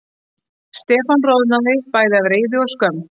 Stefán roðnaði, bæði af reiði og skömm.